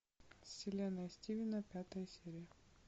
вселенная стивена пятая серия